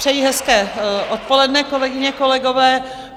Přeji hezké odpoledne, kolegyně, kolegové.